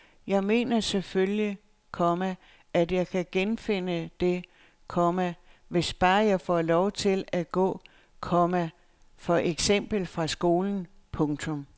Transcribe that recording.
Men jeg mener selvfølgelig, komma at jeg kan genfinde det, komma hvis bare jeg får lov at gå, komma for eksempel fra skolen. punktum